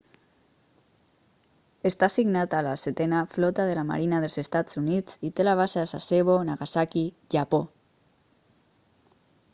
està assignat a la setena flota de la marina dels estats units i té la base a sasebo nagasaki japó